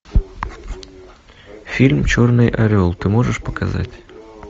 фильм черный орел ты можешь показать